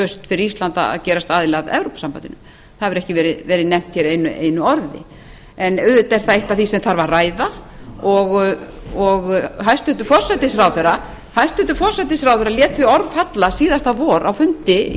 lausn fyrir ísland að gerast aðili að evrópusambandinu það hefur ekki verið nefnt einu orði en auðvitað er það eitt af því sem þarf að ræða og hæstvirtur forsætisráðherra síðasta vor á fundi